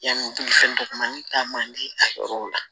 Yanni bolifɛn dɔgɔnin ta man di a yɔrɔw la